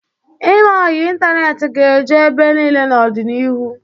Ime ọyị ịntaneetị ga-eju ebe niile n'ọdịnihu.